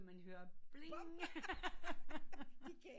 Så hører man bling